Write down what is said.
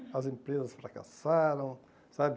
As empresas fracassaram, sabe?